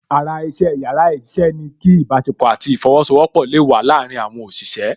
Ara iṣẹ́ yàrá iṣẹ́ ni kí ìbásepọ̀ àti ìfosowọpọ̀ le wa láàrin àwọn òṣìṣẹ́